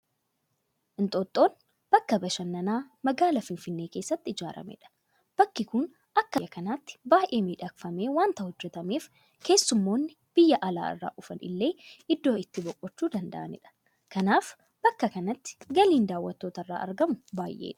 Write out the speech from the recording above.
Inxooxxoon bakka bashannanaa magaala finfinnee keessatti ijaaramedha. Bakki kun akka biyya kanaatti baay'ee miidhagfamee waanta hojjetameef keessummoonni biyya alaa irraa dhufan illee iddoo itti boqochuu danda'anidha. Kanaaf bakka kanatti galiin daawwattoota irraa argamu baay'eedha.